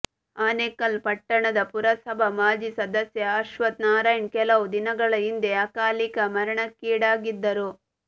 ಆನೇಕಲ್ ಪಟ್ಟಣದ ಪುರಸಭಾ ಮಾಜಿ ಸದಸ್ಯ ಅಶ್ವಥ್ ನಾರಾಯಣ್ ಕೆಲವು ದಿನಗಳ ಹಿಂದೆ ಅಕಾಲಿಕ ಮರಣಕ್ಕೀಡಾಗಿದ್ದರು